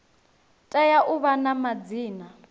tea u vha na madzina